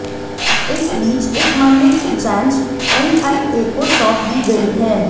इस बीच इस मामले की जांच एनआईए को सौंप दी गई है